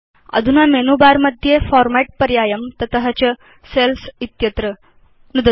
अधुना menu bar मध्ये format पर्यायं तस्मात् च सेल्स् इत्यत्र नुदतु